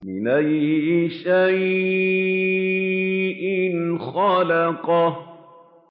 مِنْ أَيِّ شَيْءٍ خَلَقَهُ